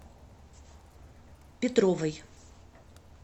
петровой